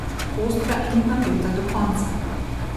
Ostra in napeta do konca.